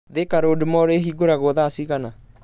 Thika Road mall ĩhingũragwo thaa cĩgana